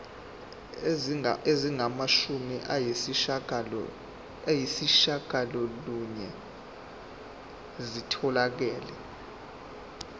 ezingamashumi ayishiyagalolunye zitholakele